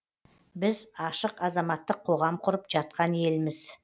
біз ашық азаматтық қоғам құрып жатқан елміз